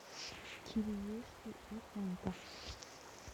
кириешки и фанта